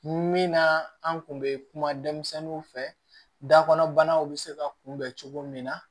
Min na an kun bɛ kuma denmisɛnninw fɛ dakɔnɔnaw bɛ se ka kunbɛn cogo min na